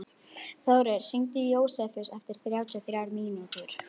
Þórir, hringdu í Jósefus eftir þrjátíu og þrjár mínútur.